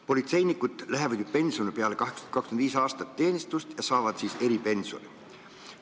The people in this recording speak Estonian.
Politseinikud lähevad ju pensionile peale 25-aastast teenistust ja saavad siis eripensioni.